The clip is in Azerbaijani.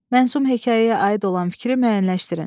Mənzum hekayəyə aid olan fikri müəyyənləşdirin.